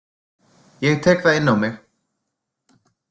Ég tek það inn á mig.